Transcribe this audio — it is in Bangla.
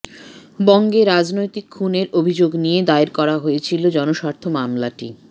বঙ্গে রাজনৈতিক খুনের অভিযোগ নিয়ে দায়ের করা হয়েছিল জনস্বার্থ মামলাটি